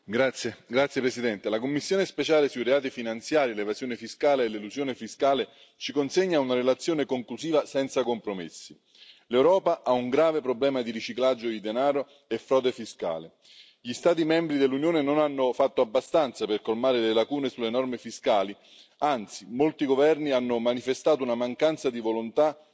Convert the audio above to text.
Signor Presidente, onorevoli colleghi, la commissione speciale sui reati finanziari, l'evasione fiscale e l'elusione fiscale ci consegna una relazione conclusiva senza compromessi l'Europa ha un grave problema di riciclaggio di denaro e frode fiscale. Gli Stati membri dell'Unione non hanno fatto abbastanza per colmare le lacune sulle norme fiscali anzi, molti governi hanno manifestato una mancanza di volontà